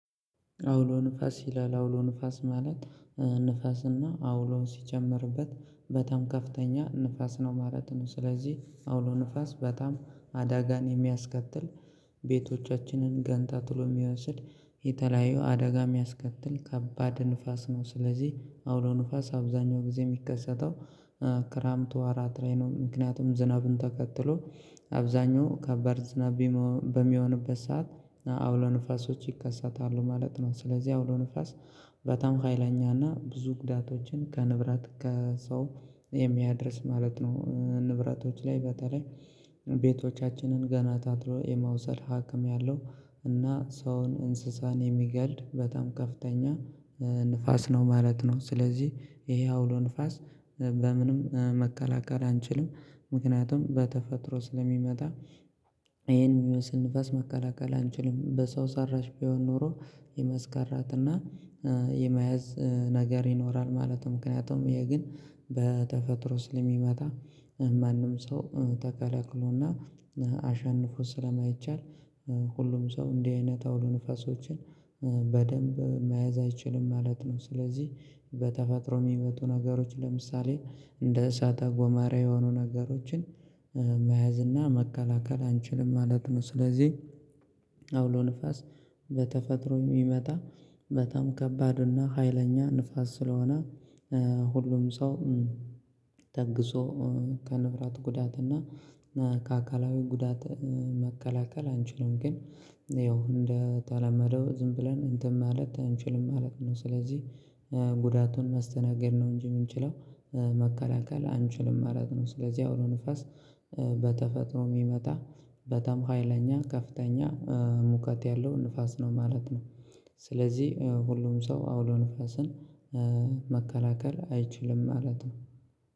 አውሎ ንፋስ ይላል አውሎ ንፋስ ማለት ንፋስና አውሎውን ሲጀምርበት በጣም ከፍተኛ ንፋስ ነው ማለት ነው። ስለዚህ አውሎ ንፋስ በጣም አዳጋን የሚያስከትል ቤቶቻችንን ገንታ ትሎ የሚወስድ የተለያየው አደጋ የሚያስከትል ከባድ ንፋስ ነው። ስለዚህ አውሎ ንፋስ አብዛኛው ጊዜ የሚከሰተው ክራምቱ አራት ላይ ነው። ምክንያቱም ዝናብን ተከትሎ አብዛኛው ከባድ ዝናብ በሚሆንበት ሰዓት አውሎ ንፋሶች ይከሰታሉ ማለት ነው። ስለዚህ አውሎ ንፋስ በጣም ኃይለኛና ብዙ ግዳቶችን ከንብራት ከሰው የሚያደርስ ማለት ነው። ንብረቶች ላይ በተለይ ቤቶቻችንን ገና ታትሎ የመውሰድ ሀክም ያለው እና ሰውን እንስሳን የሚገል በጣም ከፍተኛ ንፋስ ነው ማለት ነው። ስለዚህ ይሄ አውሎ ንፋስ በምንም መከላከል አንችልም። ምክንያቱም በተፈጥሮ ስለሚመጣ ይሄን የሚመስል ንፋስ መቀላቀል አንችልም በሰው ሰራሽ ቢሆን ኖሮ የመስከራት እና የመያዝ ነገር ይኖራል ማለት ነው። ምክንያቱም ይሄ ግን በተፈጥሮ ስለሚመጣ ማንም ሰው ተከለክሎና አሸንፎ ስለማይቻል። ሁሉም ሰው እንዲህ አይነት አውሎ ንፈሶችን በደንብ መያዝ አይችልም ማለት ነው። ስለዚህ በተፈጥሮ የሚመጡ ነገሮች ለምሳሌ እንደ እሳት አጎመራ የሆኑ ነገሮችን መያዝ እና መከላከል አንችልም ማለት ነው። ስለዚህ አውሎ ንፋስ በተፈጥሮ የሚመጣ መጣም ከባድ እና ሀይለኛ ንፋስ ስለሆነ ሁሉም ሰው ተግዞ ከንብራት ጉዳት እና ከአካላዊ ጉዳት መከላከል አንችልም። ግን ያው እንደተለመደው ዝም ብለን እንትን ማለት አንችልም ማለት ነው። ስለዚህ ጉዳቱን ማስተናገድ ነው እንጂ የምንችለው መከላከል አንችልም መራቅ ነው። ስለዚህ አውሮ ንፋስ በተፈጥሮ የሚመጣ በታም ሀይለኛ ከፍተኛ ሙከት ያለው ንፋስ ነው ማለት ነው። ስለዚህ ሁሉም ሰው አውሎ ንፋስን መከላከል አይችልም ማለት ነው።